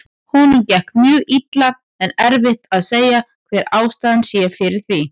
Honum gekk mjög illa en erfitt að segja hver ástæðan fyrir því sé.